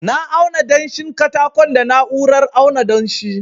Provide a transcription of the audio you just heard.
na auna danshin katakon da na'urar auna danshi